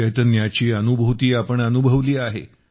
चैतन्याची अनुभूती आपण अनुभवली आहे